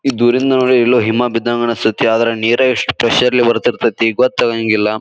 ಇದು ದೂರಿಂದ ನೋಡಿ ಎಲ್ಲೋ ಹಿಮ ಬಿದ್ದಂಗ ಅನ್ನಸ್ತಾಯಿತೇ ಆದ್ರೆ ನೀರ ಇಷ್ಟು ಪ್ರೆಷರ್ ಲೇ ಬರ್ತಿರತೈತಿ ಗೊತ್ತಾಗಾಂಗಿಲ್ಲಾ.